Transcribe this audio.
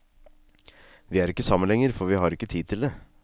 Vi er ikke sammen lenger, for vi har ikke tid til det.